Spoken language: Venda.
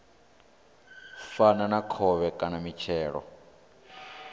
fana na khovhe kana mitshelo